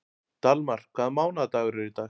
Dalmar, hvaða mánaðardagur er í dag?